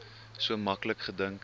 so maklik gedink